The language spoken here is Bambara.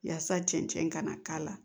Yaasa cɛn ka na k'a la